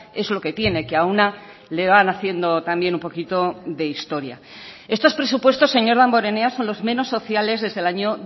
es lo que tiene que a una le van haciendo también un poquito de historia estos presupuestos señor damborenea son los menos sociales desde el año